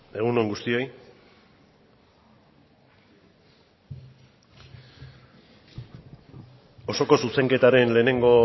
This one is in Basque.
egun on guztioi osoko zuzenketaren lehenengo